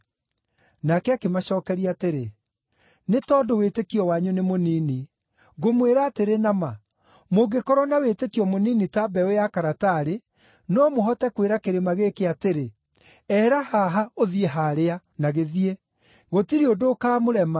Nake akĩmacookeria atĩrĩ, “Nĩ tondũ wĩtĩkio wanyu nĩ mũnini. Ngũmwĩra atĩrĩ na ma, mũngĩkorwo na wĩtĩkio mũnini ta mbeũ ya karatarĩ, no mũhote kwĩra kĩrĩma gĩkĩ atĩrĩ, ‘Ehera haha, ũthiĩ haarĩa’ na gĩthiĩ. Gũtirĩ ũndũ ũkaamũrema.” (